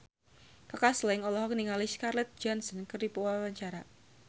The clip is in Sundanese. Kaka Slank olohok ningali Scarlett Johansson keur diwawancara